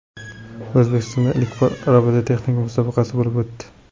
O‘zbekistonda ilk bor robototexnika musobaqasi bo‘lib o‘tdi.